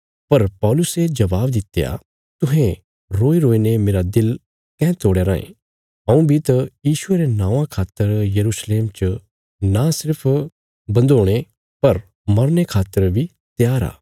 पर पौलुसे जवाब दित्या तुहें रोईरोई ने मेरा दिल काँह तोड़या रायें हऊँ बी त यीशुये रे नौआं खातर यरूशलेम च नां सिर्फ बंधोणे पर मरने खातर बी त्यार आ